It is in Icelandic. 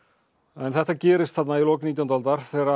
en þetta gerist þarna í lok nítjándu aldar þegar